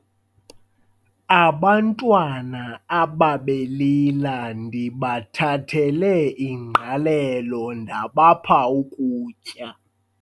Abantwana abebelila ndibathathele ingqalelo ndabapha ukutya.